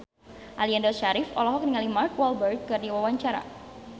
Aliando Syarif olohok ningali Mark Walberg keur diwawancara